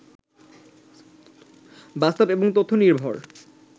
বাস্তব এবং তথ্য নির্ভর